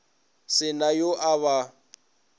se na yo a ba